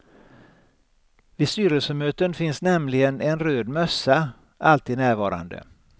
Vid styrelsemöten finns nämligen en röd mössa alltid närvarande.